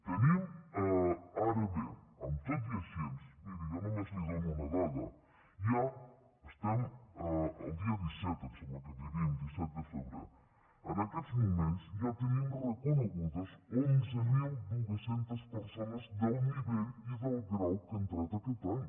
tenim ara bé tot i així miri jo només li dono una dada ja estem a dia disset em sembla que vivim disset de febrer en aquests moments ja tenim reconegudes onze mil dos cents persones del nivell i del grau que ha entrat aquest any